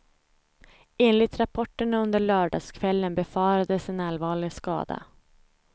Enligt rapporterna under lördagskvällen befarades en allvarlig skada.